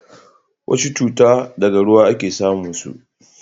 wasu cuta daga ruwa a ke samun su